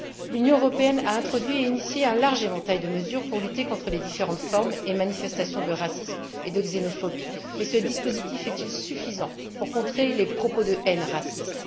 L'Union européenne a introduit et initié un large éventail de mesures pour lutter contre les différentes formes et manifestations de racisme et de xénophobie, mais ce dispositif est il suffisant pour contrer les propos de haine racistes?